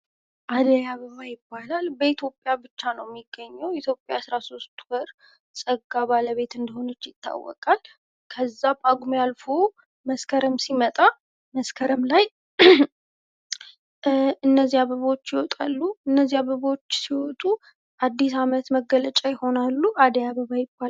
አደይ አበባ ይባላል ።በኢትዮጵያ ብቻ ነው የሚገኘው። ኢትዮጵያ የአስራ ሶስት ወር ፀጋ ባለቤት እንደሆነች ይታወቃል። ከዛ ጳጉሜ አልፎ መስከረም ሲመጣ መስከረም ላይ እነዚህ አበቦች ይወጣሉ። እነዚህ አበቦች ሲወጡ አዲስ አመት መገለጫ ይሆናሉ። አደይ አበባ ይባላሉ።